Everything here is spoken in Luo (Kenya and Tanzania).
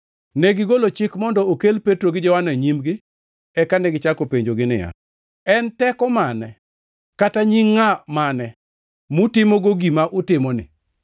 Negigolo chik mondo okel Petro gi Johana e nyimgi, eka negichako penjogi niya, “En teko mane, kata nying ngʼa mane mutimogo gima utimoni?”